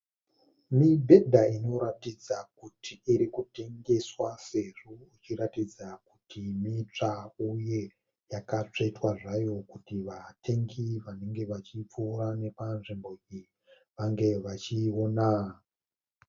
Mibhedha inoratidza kuti irikutengeswa sezvo ichiratidza kuti mitsva uye yakatsvetwa zvayo kuti vatengi vanenge vachifuura nepanzvimbo iyi vange vachiona.